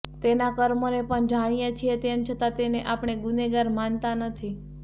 તેના કર્મોને પણ જાણીએ છીએ તેમ છતાં તેને આપણે ગુનેગાર માનતા નથી